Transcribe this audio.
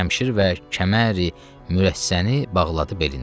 Şəmşir və kəməri mürəssəni bağladı belinə.